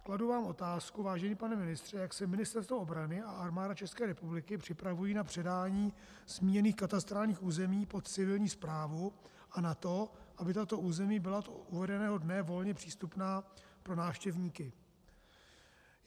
Kladu vám otázku, vážený pane ministře, jak se Ministerstvo obrany a Armáda České republiky připravují na předání zmíněných katastrálních území pod civilní správu a na to, aby tato území byla od uvedeného dne volně přístupná pro návštěvníky.